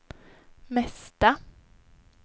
mesta